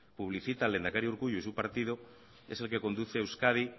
publicita el lehendakari urkullu y su partido es el que conduce a euskadi